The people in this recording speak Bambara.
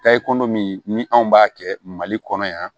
Tayi ko dɔ min ni anw b'a kɛ mali kɔnɔ yan